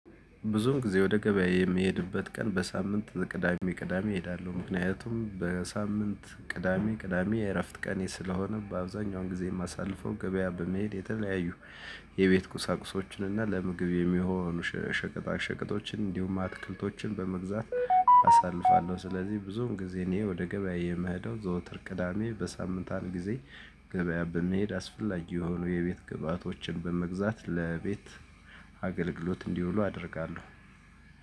ብዙም ጊዜ ወደ ገበያ የምሄድበት ቀን በሳምንት ቅዳሜ ቅዳሜ እሄዳለሁ ምክንያቱም በሳምንት ቅዳሜ ቅዳሜ የእረፍት ቀኔ ስለሆነ በአብዛኛውን ጊዜ የማሳልፈው ገበያ በመሄድ የተለያዩ የቤት ቁሳቁሶችን እና ለምግብ የሚሆኑ ሸቀጣ ሸቀጦችን እንዲሁም አትክልቶችን በመግዛት አሳልፋለሁ። ስለዚህ ብዙውን ጊዜ እኔ ወደ ገበያ የምሄደው ዘውትር ቅዳሜ በሳምንት አንድ ጊዜ ገበያ በመሄድ አስፈላጊ የሆኑ የቤት ግብአቶችን በመግዛት ለቤት አገልግሎት እንዲውሉ አደርጋለሁ።